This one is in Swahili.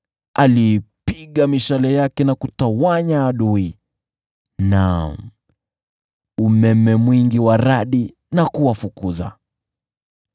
Aliipiga mishale yake na kutawanya adui, naam, umeme mwingi wa radi na kuwafukuza.